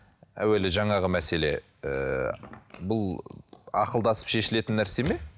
әуелі жаңағы мәселе ыыы бұл ақылдасып шешілетін нәрсе ме